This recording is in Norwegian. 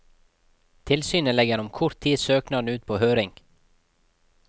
Tilsynet legger om kort tid søknaden ut på høring.